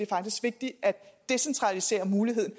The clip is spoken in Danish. faktisk vigtigt at decentralisere muligheden